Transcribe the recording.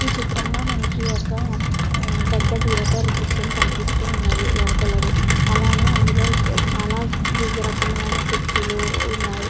ఈ చిత్రం లో మనకి ఒక పెద్ద థియేటర్ దృశ్యం కనిపిస్తుంది లోపలది అలానే అందులో చాల వివిధ రకములైన కుర్చీలు ఉన్నాయి .